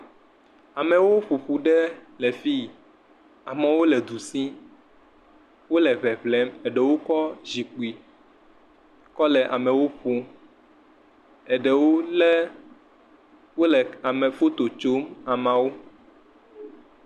Amewo ƒoƒu ɖe le fi, amewo le du sim, wole ŋeŋlem, ɖewo kɔ zikpui kɔ le amewo ƒom, ɖewo le wole foto tsom ameawo.